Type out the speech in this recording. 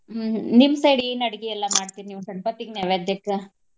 ಹ್ಮ್ ನಿಮ್ಮ್ side ಏನ್ ಅಡ್ಗಿ ಎಲ್ಲಾ ಮಾಡ್ತೀರಿ ನೀವ್ ಗಣಪತಿಗ್ ನೈವೇದ್ಯಕ್ಕ?